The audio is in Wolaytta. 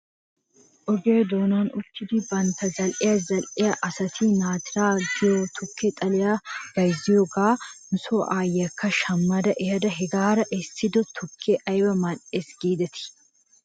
Oge doonan uttidi bantta zal''iyaa zal'iyaa asati naatiraa giyoo tukke xaliyaa bayzziyoogaa nuso aayyiyaa shamma ehada hegaara essido tukkee ayba mal'es giidetii?